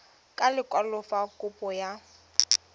ka lekwalo fa kopo ya